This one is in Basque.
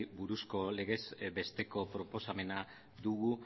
buruzko legez besteko proposamena dugu